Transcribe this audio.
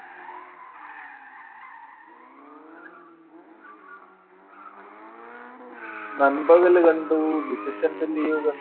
നൻപകലു കണ്ടു, Decision Telling കണ്ടു,